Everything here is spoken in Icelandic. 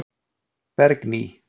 Bergný